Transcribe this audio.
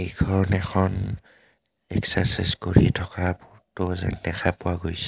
এইখন এখন এক্সচাৰছাইজ কৰি থকা ফটো যেন দেখা পোৱা গৈছে।